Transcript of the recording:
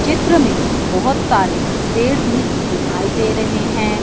चित्र में बहोत सारे पेड़ भी दिखाई दे रहे हैं।